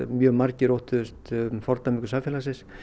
mjög margir óttuðust fordæmingu samfélagsins